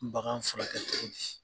N bagan furakɛ cɔgɔ bi